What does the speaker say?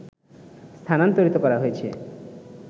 স্থানান্তরিত করা হয়েছে